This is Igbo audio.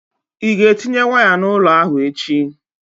Ị ga-etinye waya n'ụlọ ahụ echi?